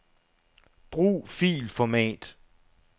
Brug filformat.